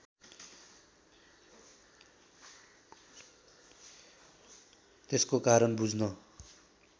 त्यसको कारण बुझ्न